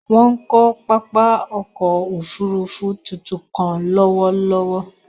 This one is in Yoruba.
Wọn kò pápá ọkọ̀ òfurufú tuntun kàn lọwọlọwọ